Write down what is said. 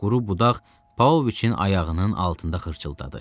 Quru budaq Paoviçin ayağının altında xırçıldadı.